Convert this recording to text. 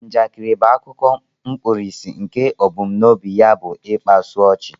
Njakịrị bụ akụkọ mkpirisi nke ebumnobi ya bu ịkpasu ochi